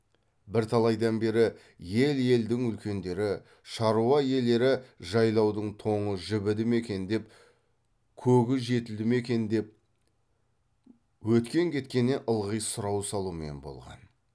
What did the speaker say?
бірталайдан бері ел елдің үлкендері шаруа иелері жайлаудың тоңы жібіді ме екен деп көгі жетілді ме екен деп өткен кеткеннен ылғи сұрау салумен болған